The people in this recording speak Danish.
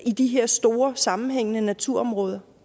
i de her store sammenhængende naturområder